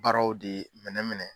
Baaraw de minɛ minɛ.